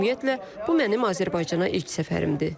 Ümumiyyətlə, bu mənim Azərbaycana ilk səfərimdir.